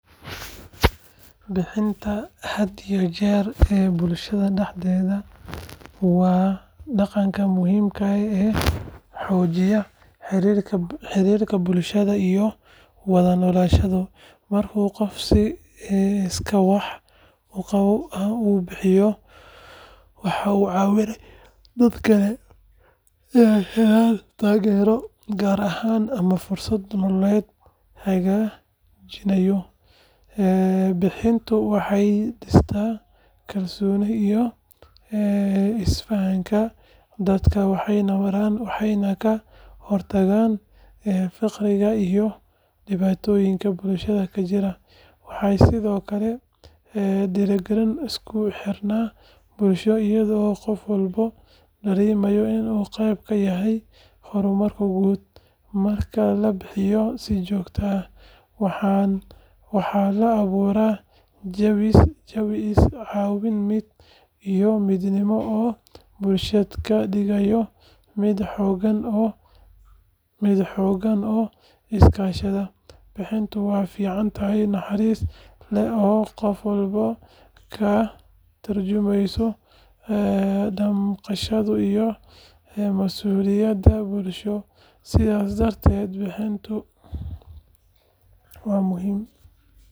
Bixinta had iyo jeer ee bulshada dhexdeeda waa dhaqanka muhiimka ah ee xoojiya xiriirka bulshada iyo wada noolaanshaha. Marka qofku si iskaa wax u qabso ah u bixiyo, waxa uu ka caawiyaa dadka kale inay helaan taageero, gargaar ama fursado noloshooda hagaajinaya. Bixintu waxay dhistaa kalsoonida iyo isfahanka dadka dhex mara, waxayna ka hortagtaa faqriga iyo dhibaatooyinka bulshada ka jira. Waxay sidoo kale dhiirrigelisaa isku xirnaanta bulshada iyadoo qof walba dareemayo in uu qayb ka yahay horumarka guud. Marka la bixiyo si joogto ah, waxaa la abuuraa jawi is-caawimaad iyo midnimo oo bulshada ka dhigaya mid xooggan oo iskaashata. Bixinta waa ficil naxariis leh oo qof walba ka tarjumaya damqasho iyo masuuliyad bulsho. Sidaas darteed, bixinta wa muhim.